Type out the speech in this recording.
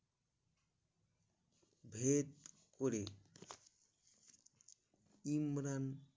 ভেদ করে ইমরান